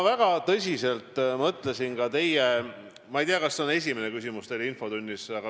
Ma ei tea, kas see on teil esimene küsimus infotunnis.